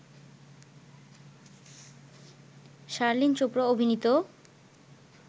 শার্লিন চোপড়া অভিনীত